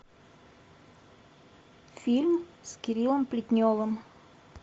фильм с кириллом плетневым